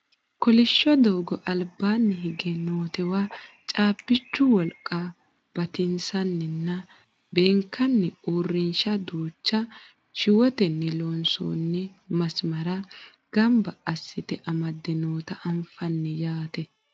kolishsho doogo albaanni higge nootewa caabbichu wolqa batinsanninna beekkanni uurrinsha duucha shiwotenni loonsoonni masmara ganaba assite amadde noota anfanni yaate